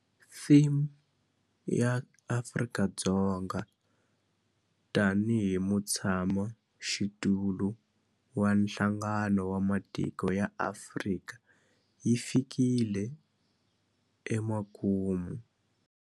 Theme ya Afrika-Dzonga tanihi mutshamaxitulu wa Nhlangano wa Matiko ya Afrika yi fikile emakumu.